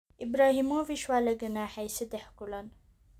Ibrahimovic waa la ganaaxay seddex kulan